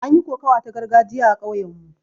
An yi kokawa ta gargajiya a kauyen mu